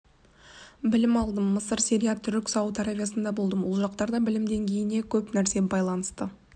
білім алдым мысыр сирия түрік сауд аравиясында болдым ол жақтарда білім деңгейіне көп нәрсе байланысты